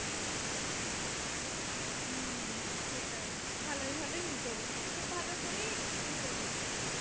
হম সেটাই ভালোই ভালোই মিটে গেছে, খুব ভালো করেই মিটে গেছে।